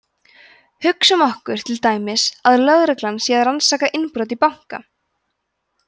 hugsum okkur til dæmis að lögreglan sé að rannsaka innbrot í banka